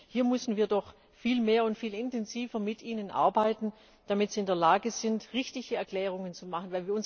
Hier müssen wir doch viel mehr und viel intensiver mit ihnen arbeiten, damit sie in der Lage sind, richtige Erklärungen zu machen.